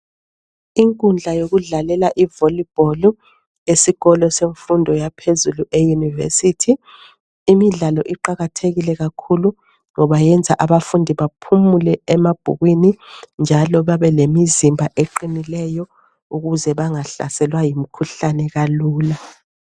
Inkundla yokudlalela ivolleyball esikolo semfundo yaphezulu e university .Imidlalo iqalathekile kakhulu ngoba yenza abafundi baphumule emabhukwini. Njalo babe lemizimba eqinileyo . Ukuze bangahlaselwa yimikhuhlane kalula .